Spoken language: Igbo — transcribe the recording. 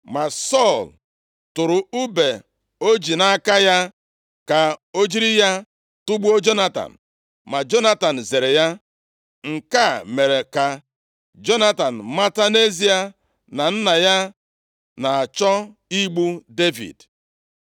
Ma Sọl tụrụ ùbe o ji nʼaka ya ka o jiri ya tugbuo Jonatan, ma Jonatan zere ya. Nke a mere ka Jonatan mata nʼezie na nna ya na-achọ igbu Devid.